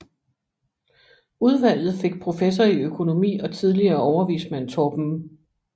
Udvalget fik professor i økonomi og tidligere overvismand Torben M